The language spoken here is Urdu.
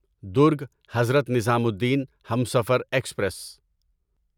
درگ حضرت نظامالدین ہمسفر ایکسپریس